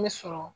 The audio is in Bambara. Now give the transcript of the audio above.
Ne sɔrɔ